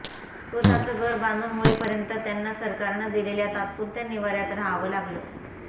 स्वतःचं घर बांधून होईपर्यंत त्यांना सरकारनं दिलेल्या तात्पुरत्या निवाऱ्यात राहावं लागलं